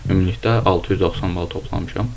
Ümumilikdə 690 bal toplamışam.